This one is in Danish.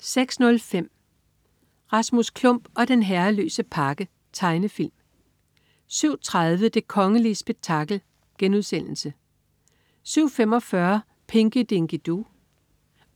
06.05 Rasmus Klump og den herreløse pakke. Tegnefilm 07.30 Det kongelige spektakel* 07.45 Pinky Dinky Doo